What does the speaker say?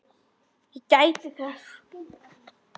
Ég gæti þess.